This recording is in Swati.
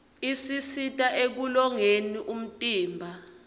isisita ekulolongeni umtimba